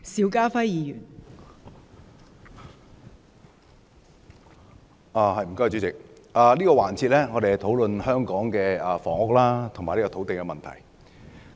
我們在這個環節是討論香港的房屋和土地問題。